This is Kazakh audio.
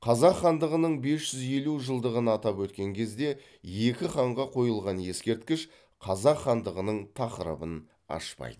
қазақ хандығының бес жүз елу жылдығын атап өткен кезде екі ханға қойылған ескерткіш қазақ хандығының тақырыбын ашпайды